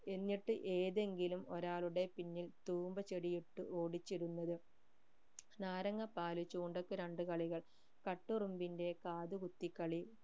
എന്നിട്ട് ഏതെങ്കിലും ഒരാളുടെ പിന്നിൽ തൂമ്പ ചെടിയിട്ടു ഓടിച്ചിരുന്നത് നാരങ്ങാപ്പൽ ചൂണ്ടക്ക് രണ്ട് കളികൾ കട്ടുറുമ്പിന്റെ കാതുകുത്തി കളി എന്നിട്ട് ഏതെങ്കിലും ഒരാളുടെ പിന്നിൽ തൂമ്പ ചെടി ഇട്ടു ഓടിച്ചിരുന്നത്